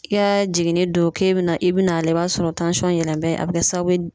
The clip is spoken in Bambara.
I ka jiginni don k'e bena i bina a lajɛ i b'a sɔrɔ tansɔn yɛlɛn bɛ a be kɛ sababu ye